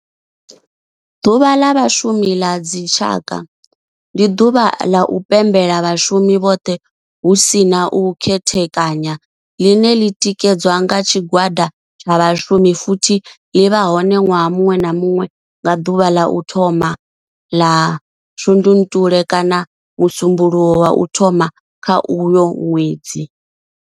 Ḓuvha la Vhashumi ḽa dzi tshaka, ndi ḓuvha ḽa u pembela vhashumi vhothe hu si na u khethekanya ḽine ḽi tikedza nga tshigwada tsha vhashumi futhi ḽi vha hone nwaha munwe na munwe nga duvha ḽa u thoma 1 ḽa Shundunthule kana musumbulowo wa u thoma kha uyo nwedzi.